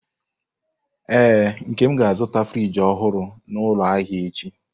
Ee, Nkem ga-azụta friji ọhụrụ n'ụlọ ahịa echi.